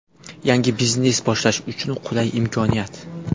Yangi biznes boshlash uchun qulay imkoniyat!.